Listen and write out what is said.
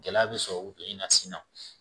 Gɛlɛya bɛ sɔrɔ o in na sin na